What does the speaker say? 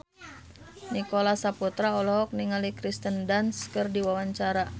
Nicholas Saputra olohok ningali Kirsten Dunst keur diwawancara